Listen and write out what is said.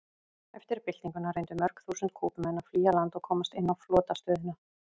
Eftir byltinguna reyndu mörg þúsund Kúbumenn að flýja land og komast inn á flotastöðina.